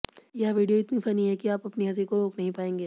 यह वीडियो इतनी फनी है कि आप अपनी हंसी को रोक नहीं पाएंगे